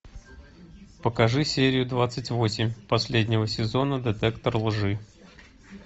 покажи серию двадцать восемь последнего сезона детектор лжи